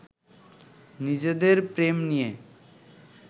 নিজেদের প্রেম নিয়ে